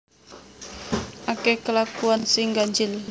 Akeh kelakuan sing ganjil